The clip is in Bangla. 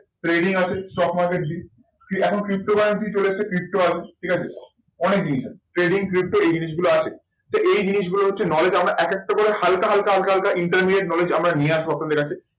trading আছে stock market এখন cryptocurrency চলে এসেছে, crypto wallet, ঠিক আছে? অনেক জিনিস আছে। trading crypto এই জিনিসগুলো আছে। তা এই জিনিসগুলো হচ্ছে knowledge আমরা একেকটা করে হালকা হালকা হালকা intermediate knowledge আমরা নিয়ে আসবো আপনাদের কাছে।